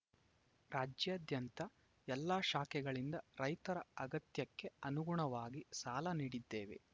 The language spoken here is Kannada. ರಾಜ್ಯಾದ್ಯಂತ ಎಲ್ಲಾ ಶಾಖೆಗಳಿಂದ ರೈತರ ಅಗತ್ಯಕ್ಕೆ ಅನುಗುಣವಾಗಿ ಸಾಲ ನೀಡಿದ್ದೇವೆ